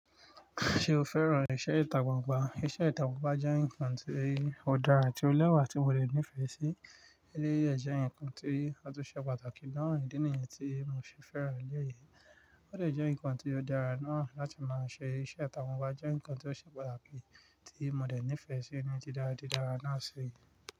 Ṣé o fẹ́ràn iṣẹ́ ìtàgbàgbà? Iṣẹ́ ìtàgbàgbà jẹ́ nǹkan tí ó dára ti o lẹ́wà tí mo le nífẹ̀ẹ́ sí. Eré yí jẹ́ nǹkan tí ó tún ṣe pàtàkì náà ni ìdí nìyẹn tí mo ṣe fẹ́ràn eré yìí. Ó dè jẹ́ nǹkan tí ó dára náà láti máa ṣe iṣẹ́. Ìtàgbàngbà jẹ́ nǹkan tí ó ṣe pàtàkì tí mo dè nífẹ̀ẹ́ sí ní dídára dídára náà ṣi.